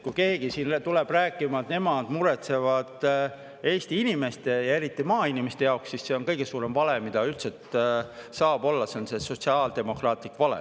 Kui keegi siin tuleb veel rääkima, et nemad muretsevad Eesti inimeste ja eriti maainimeste pärast, siis see on kõige suurem vale, mis üldse saab olla, see on sotsiaaldemokraatlik vale.